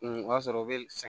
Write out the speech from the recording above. o y'a sɔrɔ o bɛ